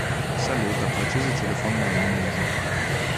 салют оплати за телефон моему мужу